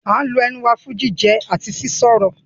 We use our mouth for eating and talking